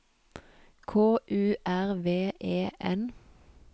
K U R V E N